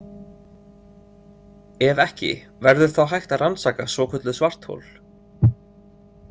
Ef ekki, verður þá hægt að rannsaka svokölluð svarthol?